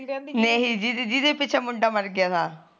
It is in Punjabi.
ਨਹੀ ਜਿਦੇ ਪਿਛੇ ਮੁੰਡਾ ਮਰ ਗਿਆ ਤਾ